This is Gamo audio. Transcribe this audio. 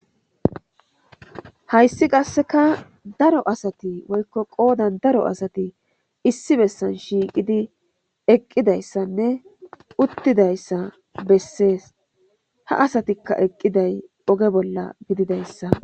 hayssi qasseka daro asati woykko qoodan daro asati issi bessan shiiqidi eqqidayssanne uttidayssa bessees ha asatikka eqqiday oge bolla gididayssa